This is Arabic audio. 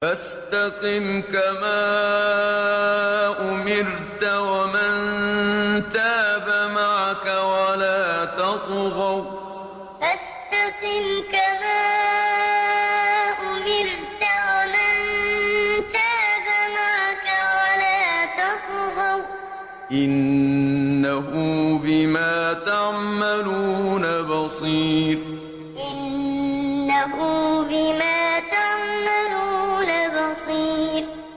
فَاسْتَقِمْ كَمَا أُمِرْتَ وَمَن تَابَ مَعَكَ وَلَا تَطْغَوْا ۚ إِنَّهُ بِمَا تَعْمَلُونَ بَصِيرٌ فَاسْتَقِمْ كَمَا أُمِرْتَ وَمَن تَابَ مَعَكَ وَلَا تَطْغَوْا ۚ إِنَّهُ بِمَا تَعْمَلُونَ بَصِيرٌ